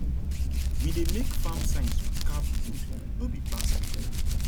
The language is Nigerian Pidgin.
we dey make farm signs with carved wood no be plastic